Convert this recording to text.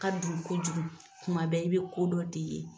ka dun kojugu kuma bɛɛ i bɛ ko dɔ de ye.